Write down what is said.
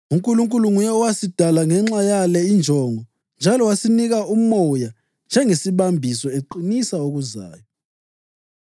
UNkulunkulu nguye owasidala ngenxa yale injongo njalo wasinika uMoya njengesibambiso, eqinisa okuzayo.